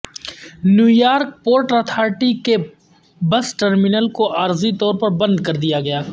new York port authority کے bus terminal کو عارضی طور پر بند کر دیا گیا